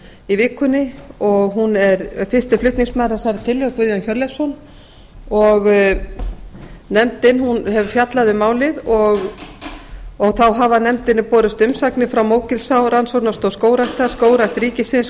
í vikunni og er fyrsti flutningsmaður þessarar tillögu er guðjón hjörleifsson nefndin hefur fjallað um málið þá hafa nefndinni borist umsagnir frá mógilsá rannsóknastöð skógræktar skógrækt ríkisins